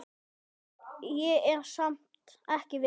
Ég er samt ekki viss.